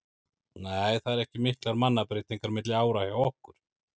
Nei það eru ekki miklar mannabreytingar milli ára hjá okkur.